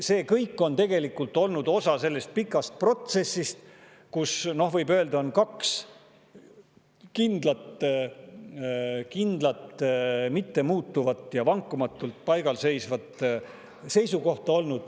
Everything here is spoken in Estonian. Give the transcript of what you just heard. See kõik on tegelikult olnud osa sellest pikast protsessist, kus, võib öelda, on olnud kaks kindlat, mittemuutuvat ja vankumatult paigal seisvat seisukohta.